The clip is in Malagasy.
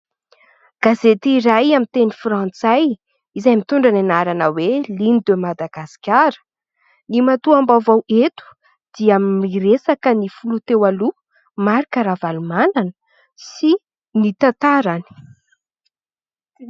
Gazety iray amin'ny teny frantsay izay mitondra ny anarana hoe :" Ligne de Madagascar " ny matoa am-baovao eto dia miresaka ny filoha teo aloha Marc Ravalomanana sy ny tantarany.